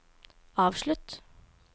avslutt